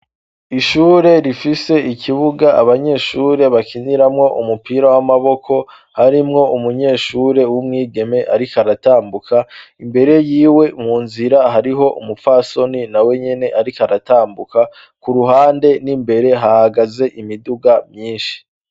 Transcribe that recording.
Ishure rifise ikibuga abanyeshure bakiniramwo umupira w'amaboko, harimwo umunyeshure w'umwigeme arik' aratambuka, imbere yiwe mu nzira hariho umupfasoni na we nyene arik' aratambuka, ku ruhande n'imbere hahagaze imiduga myinshi